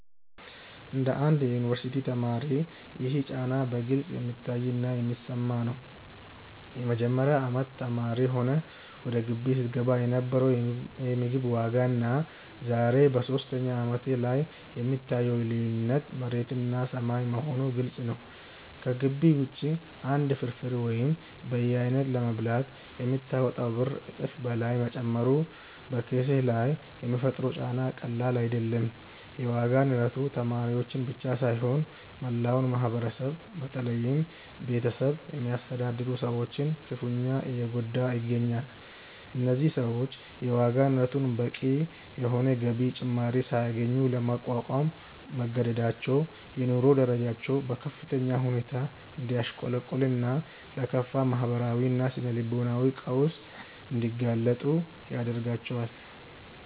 እንደ አንድ የዩኒቨርሲቲ ተማሪ ይህ ጫና በግልጽ የሚታይና የሚሰማ ነው። የመጀመሪያ አመት ተማሪ ሆነህ ወደ ግቢ ስትገባ የነበረው የምግብ ዋጋና ዛሬ በሶስተኛ አመትህ ላይ የምታየው ልዩነት መሬትና ሰማይ መሆኑ ግልጽ ነው። ከግቢ ውጪ አንድ ፍርፍር ወይም በየአይነቱ ለመብላት የምታወጣው ብር እጥፍ በላይ መጨመሩ በኪስህ ላይ የሚፈጥረው ጫና ቀላል አይደለም። የዋጋ ንረቱ ተማሪዎችን ብቻ ሳይሆን መላውን ማህበረሰብ በተለይም ቤተሰብ የሚያስተዳድሩ ሰዎችን ክፉኛ እየጎዳ ይገኛል። እነዚህ ሰዎች የዋጋ ንረቱን በቂ የሆነ የገቢ ጭማሪ ሳያገኙ ለመቋቋም መገደዳቸው የኑሮ ደረጃቸው በከፍተኛ ሁኔታ እንዲያሽቆለቁልና ለከፋ ማህበራዊና ስነ-ልቦናዊ ቀውስ እንዲጋለጡ ያደርጋቸዋል።